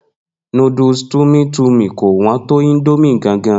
Noodles tummy tummy kò wọn tó indomie gan gan